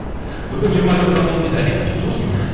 бүгін жиырма жасқа толдым дейді әлем құтты болсын